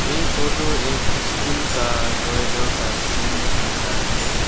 ये फोटो एक स्कूल का कॉरिडोर का सीन दिखाता है।